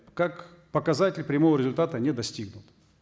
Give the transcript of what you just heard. как показатель прямого результата не достигнут